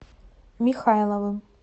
михайловым